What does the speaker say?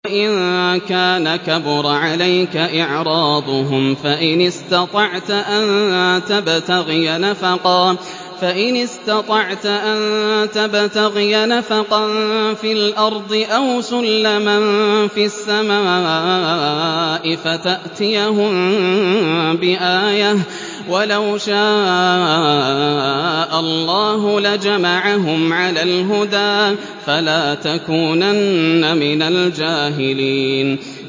وَإِن كَانَ كَبُرَ عَلَيْكَ إِعْرَاضُهُمْ فَإِنِ اسْتَطَعْتَ أَن تَبْتَغِيَ نَفَقًا فِي الْأَرْضِ أَوْ سُلَّمًا فِي السَّمَاءِ فَتَأْتِيَهُم بِآيَةٍ ۚ وَلَوْ شَاءَ اللَّهُ لَجَمَعَهُمْ عَلَى الْهُدَىٰ ۚ فَلَا تَكُونَنَّ مِنَ الْجَاهِلِينَ